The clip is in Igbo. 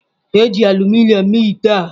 E ji aluminom mee ite a.